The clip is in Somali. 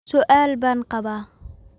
su'aal baan qabaa